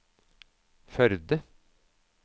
Førde